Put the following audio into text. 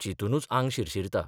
चिंतूनच आंग शिरशिरता...